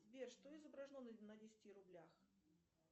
сбер что изображено на десяти рублях